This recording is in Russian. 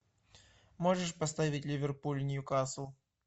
можешь поставить ливерпуль ньюкасл